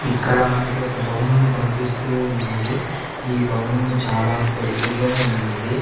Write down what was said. ఇక్కడ మనకి ఒక భవనము కనిపిస్తూ ఉన్నది ఈ భవనము చాలా పొడుగుగా ఉన్నది.